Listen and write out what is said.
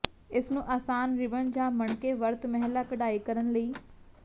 ਇਸ ਨੂੰ ਆਸਾਨ ਰਿਬਨ ਜ ਮਣਕੇ ਵਰਤ ਮਹਿਲਾ ਕਢਾਈ ਕਰਨ ਲਈ